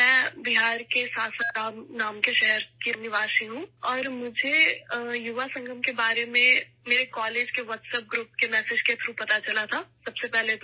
میں بہار کے ساسارام شہر کی رہنے والی ہوں اور مجھے یووا سنگم کے بارے میں سب سے پہلے اپنے کالج کے واٹس ایپ گروپ کے پیغام کے ذریعے معلوم ہوا